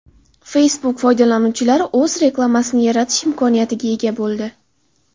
Facebook foydalanuvchilari o‘z reklamasini yaratish imkoniyatiga ega bo‘ldi.